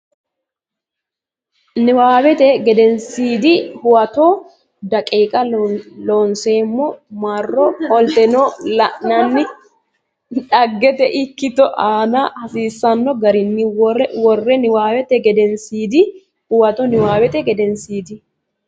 Niwaawete Gedensiidi Huwato daqiiqa Looseemmo marro qoltine la inanni dhaggete ikkito aante hasiisanno garinni worre Niwaawete Gedensiidi Huwato Niwaawete Gedensiidi.